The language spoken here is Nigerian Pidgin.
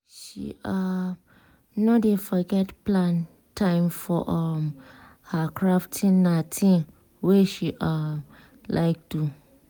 she um no dey forget plan time for um her crafting na thing wey she um like do.